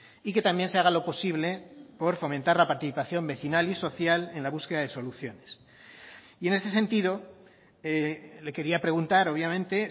y que también se haga lo posible por fomentar la participación vecinal y social en la búsqueda de soluciones y en ese sentido le quería preguntar obviamente